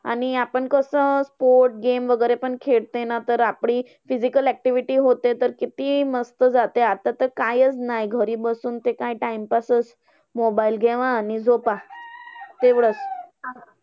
आणि आपण कसं sports game वगैरे पण खेळते ना, तर आपली physical activity होते. तर किती मस्त जाते. आता तर कायच नाही ते घरी बसुन ते काय time pass चं mobile घेवा आणि झोपा. तेवढंच.